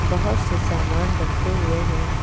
बहुत से सामान रखे हुए हैं।